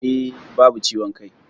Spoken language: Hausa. E, babu ciwon ciki.